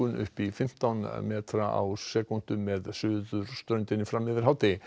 upp í fimmtán metra á sekúndu með suðurströndinni fram yfir hádegi